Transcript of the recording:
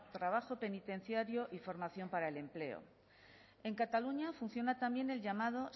trabajo penitenciario y formación para el empleo en cataluña funciona también el llamado